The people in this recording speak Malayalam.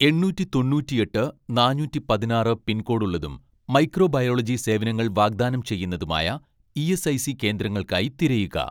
എണ്ണൂറ്റി തൊണ്ണൂറ്റിയെട്ട് നാനൂറ്റി പതിനാറ് പിൻകോഡ് ഉള്ളതും മൈക്രോബയോളജി സേവനങ്ങൾ വാഗ്ദാനം ചെയ്യുന്നതുമായ ഇ.എസ്.ഐ.സി കേന്ദ്രങ്ങൾക്കായി തിരയുക